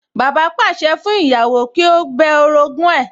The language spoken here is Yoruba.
Bàbá pàṣẹ fún ìyàwó pé kí ó bẹ orogún ẹ̀